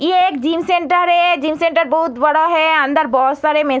ये एक gym centre है जिम सेंटर बहुत बड़ा हैं अंदर बहुत सारे में --